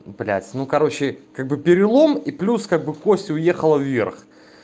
блять ну короче как бы перелом и плюс как бы кость уехала вверх